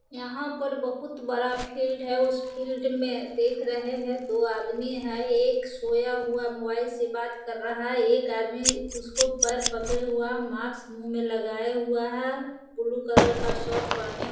यहाँ पर बहोत बड़ा फील्ड है। उस फील्ड में देख रहे हैं। दो आदमी हैं एक सोया हुआ मोबाइल से बात कर रहा है। एक आदमी उसको पैर पकडे हुआ मास्क मुँह में लगाया हुआ हैं। ब्लू कलर का शर्ट पहने --